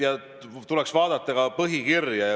Tuleks vaadata ka põhikirja.